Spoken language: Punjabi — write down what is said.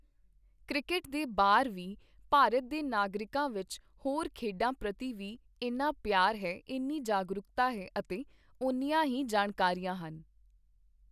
ਕ੍ਰਿਕੇਟ ਦੇ ਬਾਹਰ ਵੀ ਭਾਰਤ ਦੇ ਨਾਗਰਿਕਾਂ ਵਿੱਚ ਹੋਰ ਖੇਡਾਂ ਪ੍ਰਤੀ ਵੀ ਇੰਨਾ ਪਿਆਰ ਹੈ, ਇੰਨੀ ਜਾਗਰੂਕਤਾ ਹੈ ਅਤੇ ਉੰਨੀਆਂ ਹੀ ਜਾਣਕਾਰੀਆਂ ਹਨ।